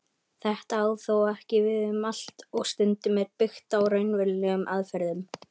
Þetta á þó ekki við um allt og stundum er byggt á raunverulegum aðferðum.